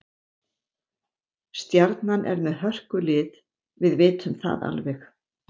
Stjarnan er með hörkulið, við vitum það alveg.